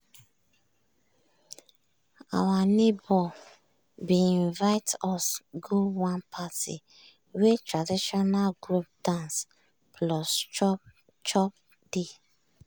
our neighbor bin invite us go one party wey traditional group dance plus chop chop dey.